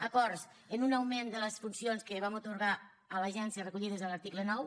acords en un augment de les funcions que vam atorgar a l’agència recollides a l’article nou